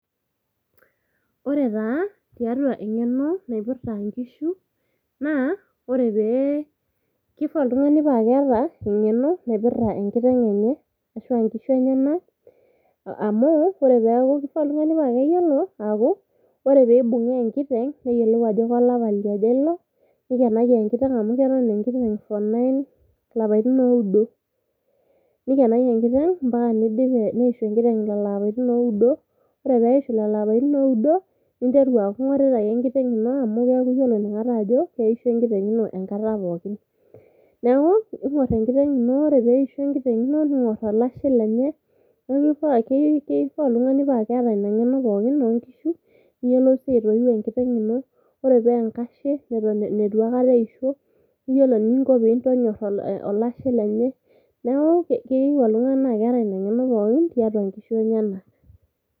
Ore taa tiatua engeno naipirta inkishu naa ore pee kifaa oltungani paa keeta engeno naipirta enkiteng enye ashuaa nkishu enyenak amu kifaa oltungani paa keyiolo aaku ore peibungaa enkiteng , neyiolou ajo kolapa liaja ilo ,nikenaki enkiteng amu keton enkiteng for nine ilapaitin oudo . Nikenaki enkiteng ampaka nidip ampaka neishu enkiteng lelo apaitin oudo. Ore peishu lelo apaitin oudo, ninteru aaku ingorita ake enkiteng ino amu keaku iyiolo inakata ajo keisho enkiteng ino enkata pookin. Niaku ingor enkiteng ino ore peisho enkiteng ino ningor olashe lenye .Niaku kifaa oltungani paa keeta ina ngeno pookin oonkishu , niyiolou sii aitoiu enkitenng .Ore paa enkashe nitu aikata eisho niyilo eninko pintonyor olashe lenye . Niaku keyieu oltungani naa keeta ina ngeno pookin tiatua nkishu enyenak .